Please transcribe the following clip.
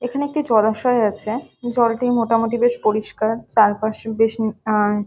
এখানে একটি জলাশয় আছে জল টি মোটামুটি বেশ পরিষ্কার চারপাশে বেশ ম আ --